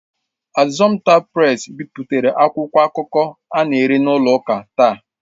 Assumpta Presi bipụtara akwụkwọ akụkọ a na-ere n'ụlọ ụka taa.